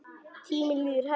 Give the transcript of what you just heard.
Tíminn líður hægt.